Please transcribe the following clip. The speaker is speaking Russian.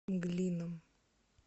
мглином